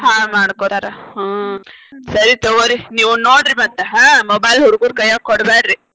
ಹಾಳ್ ಮಾಡ್ಕೊತಾರ ಹಾ ಸರಿ ತೊಗೋರಿ ನೀವ್ ನೋಡ್ರಿ ಮತ್ತ ಹಾ mobile ಹುಡ್ಗುರ್ ಕೈಯಾಗ ಕೊಡಬ್ಯಾಡ್ರಿ.